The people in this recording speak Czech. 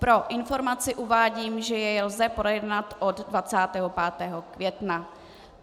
Pro informaci uvádím, že jej lze projednat od 25. května.